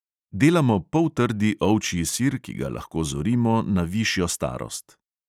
Delamo poltrdi ovčji sir, ki ga lahko zorimo na višjo starost.